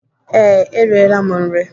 Ee, E riela m nri.